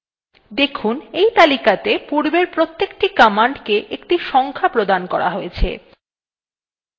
দেখুন এই তালিকাতে পূর্বের প্রতেকটি commands একটি সংখ্যা প্রদান করা হয়ছে